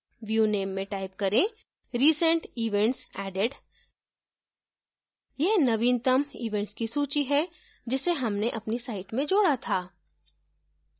view name में type करें recent events added यह नवीनतम events की सूची है जिसे हमने अपनी site में जोडा था